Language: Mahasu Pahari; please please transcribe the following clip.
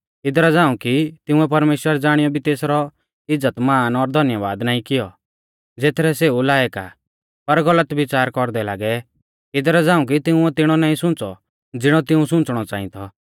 इदरा झ़ाऊं कि तिंउऐ परमेश्‍वर ज़ाणियौ भी तेसरौ इज़्ज़तमान और धन्याबाद नाईं कियौ ज़ेथरै सेऊ लायक आ पर गलत बिच़ार कौरदै लागै इदरा झ़ांऊ कि तिंउऐ तिणौ नाईं सुंच़ौ ज़िणौ तिऊं सुंच़णौ च़ांई थौ